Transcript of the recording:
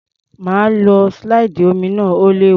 Má lo slide omi náà, ó léwu.